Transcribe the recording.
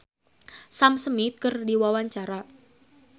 Ario Batu olohok ningali Sam Smith keur diwawancara